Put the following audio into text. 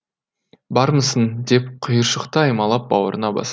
бармысың деп құйыршықты аймалап бауырына басады